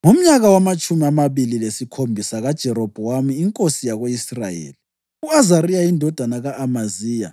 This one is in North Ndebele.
Ngomnyaka wamatshumi amabili lesikhombisa kaJerobhowamu inkosi yako-Israyeli, u-Azariya indodana ka-Amaziya